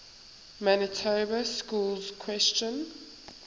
manitoba schools question